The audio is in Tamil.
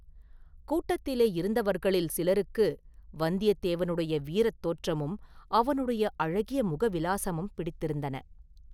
கூட்டத்திலே இருந்தவர்களில் சிலருக்கு, வந்தியத்தேவனுடைய வீரத் தோற்றமும் அவனுடைய அழகிய முகவிலாசமும் பிடித்திருந்தன.